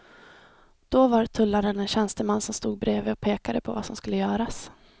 Då var tullaren en tjänsteman som stod bredvid och pekade på vad som skulle göras.